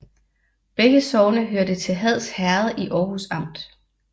Begge sogne hørte til Hads Herred i Aarhus Amt